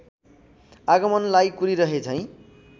आगमनलाई कुरिरहे झैँ